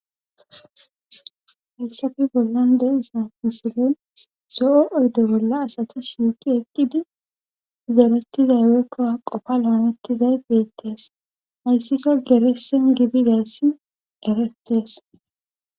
hayssafi bollan deyisaisile so7o oydo bolla asata shiiqi ekkidi zeretizay weekkoa qofa laamettizay beettees hayssika geresen gidideessi eretees